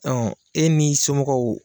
e n'i somɔgɔw